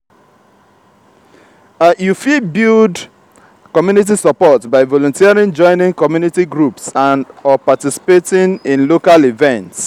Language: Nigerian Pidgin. you fit build community support by volunteering joining community groups or participating in local events.